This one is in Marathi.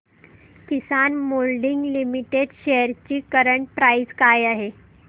किसान मोल्डिंग लिमिटेड शेअर्स ची करंट प्राइस काय आहे